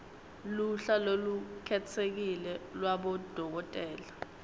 luhla lolukhetsekile lwabodokotela